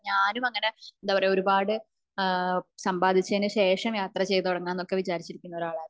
ഞാനും അങ്ങനെ എന്താ പറയ ഒരുപാട് സംബാധിച്ചതിനു ശേഷം യാത്ര ചെയ്തു തുടങ്ങാം എന്ന് വിചാരിച്ചിരുന്ന ഒരാളായിരുന്നു